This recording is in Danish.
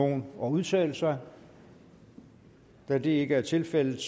nogen at udtale sig da det ikke er tilfældet